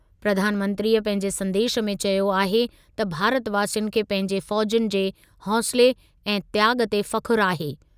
प्रधानमंत्रीअ पंहिंजे संदेशु में चयो आहे त भारतवासियुनि खे पंहिंजे फ़ौज़ियुनि जे हौंसले ऐं त्याॻु ते फ़ख़ुर आहे।